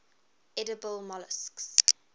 edible molluscs